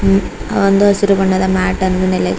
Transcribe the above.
ಒಂದು ಹಸಿರು ಬಣ್ಣದ ಮ್ಯಾಟನ್ನು ನೆಲೆ--